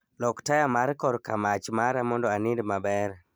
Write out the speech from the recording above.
Lok taya mar kor kamach mara mondo anind maber